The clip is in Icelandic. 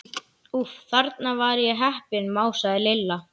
Úff, þarna var ég heppin másaði Lilla.